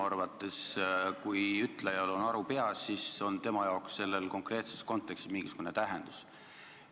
Kui ütlejal on aru peas, siis on minu arvates tema jaoks konkreetses kontekstis nendel mingisugune tähendus.